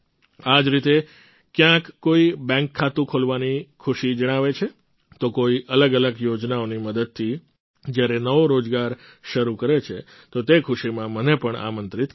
આ જ રીતે ક્યાંક કોઈ બૅન્ક ખાતું ખોલવાની ખુશી જણાવે છે તો કોઈ અલગઅલગ યોજનાઓની મદદથી જ્યારે નવો રોજગાર શરૂ કરે છે તો તે ખુશીમાં મને પણ આમંત્રિત કરે છે